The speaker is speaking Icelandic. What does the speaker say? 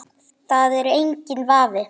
Það er enginn vafi.